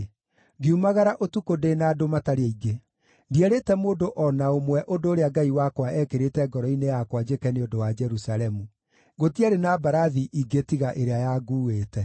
ngiumagara ũtukũ ndĩ na andũ matarĩ aingĩ. Ndierĩte mũndũ o na ũmwe ũndũ ũrĩa Ngai wakwa eekĩrĩte ngoro-inĩ yakwa njĩke nĩ ũndũ wa Jerusalemu. Gũtiarĩ na mbarathi ingĩ tiga ĩrĩa yanguuĩte.